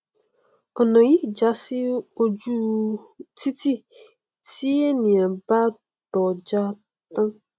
ọnà yìí já sí oju u titi tí ènìà bá tọọ já tán